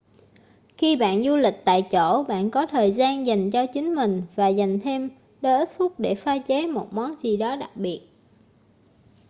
khi bạn du lịch tại chỗ bạn có thời gian dành cho chính mình và dành thêm đôi ít phút để pha chế một món gì đó đặc biệt